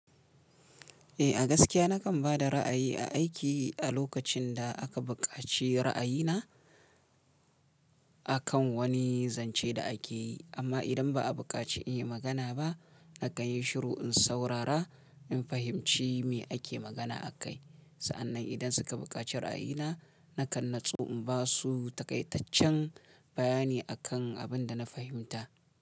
Eh a gaskiya nakan ba da ra'ayi a aiki a lokacin da aka buƙaci ra'ayina akan wani zance da ake yi, amma idan ba a buƙaci in yi magana ba, nakan yi shiru in saurara in fahimci me ake magana a kai. Sa'annan idan suka buƙaci ra'ayina, nakan natsu in ba su takaitaccen bayani akan abin da na fahimta.